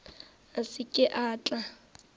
a se ke a tla